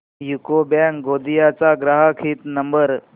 UCO bank Gondia चा ग्राहक हित नंबर